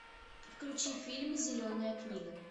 включи фильм зеленая книга